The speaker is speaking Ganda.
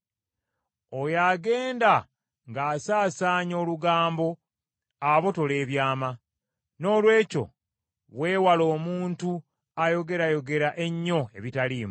Oyo agenda ng’asaasaanya olugambo abotola ebyama, noolwekyo weewale omuntu ayogerayogera ennyo ebitaliimu.